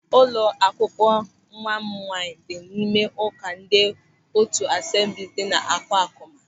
Ụlọ akwụkwọ nwa m nwaanyị dị n'ime ụka ndị otu Asemblis dị N'Akwakụma.